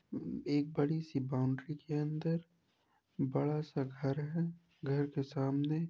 एक बड़ी सी बाउंड्री के अंदर बड़ा सा घर है घर के सामने --